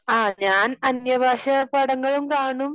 അഹ് ഞാൻ അന്യഭാഷാ പാടങ്ങളും കാണും